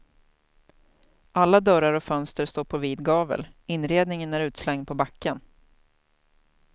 Alla dörrar och fönster står på vid gavel, inredningen är utslängd på backen.